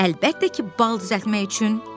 Əlbəttə ki, bal düzəltmək üçün!